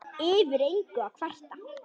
Yfir engu að kvarta.